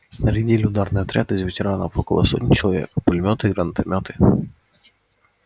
снарядили ударный отряд из ветеранов около сотни человек пулемёты гранатомёты